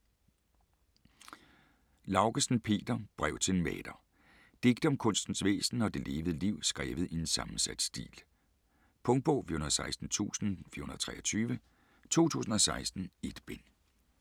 Laugesen, Peter: Brev til en maler Digte om kunstens væsen og det levede liv skrevet i en sammensat stil. Punktbog 416423 2016. 1 bind.